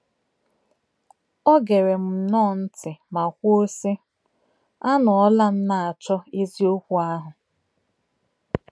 Ọ gere m nnọọ ntị ma kwuo, sị: “ A nọọla m na-achọ eziokwu ahụ.